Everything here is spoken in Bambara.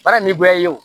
Baara ni gɔbɔni ye o